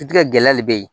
Sutigɛ gɛlɛya le be yen